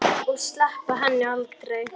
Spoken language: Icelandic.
Og sleppa henni aldrei.